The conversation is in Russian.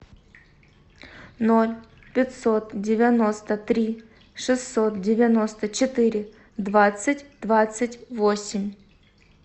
ноль пятьсот девяносто три шестьсот девяносто четыре двадцать двадцать восемь